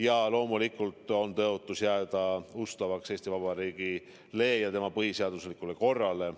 Ja loomulikult on tõotus jääda ustavaks Eesti Vabariigile ja tema põhiseaduslikule korrale.